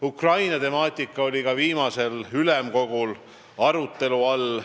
Ukraina temaatika oli ka viimasel ülemkogul arutelu all.